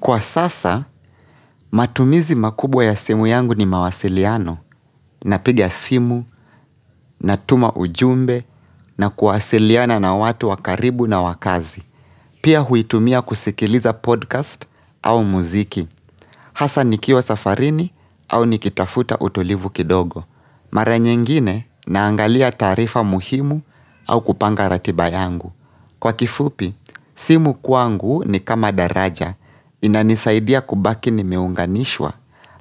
Kwa sasa, matumizi makubwa ya simu yangu ni mawasiliano, napiga simu, natuma ujumbe, na kuwasiliana na watu wa karibu na wa kazi. Pia huitumia kusikiliza podcast au muziki. Hasa nikiwa safarini au nikitafuta utulivu kidogo. Mare nyengine naangalia taarifa muhimu au kupanga ratiba yangu. Kwa kifupi, simu kwangu ni kama daraja, inanisaidia kubaki nimeunganishwa,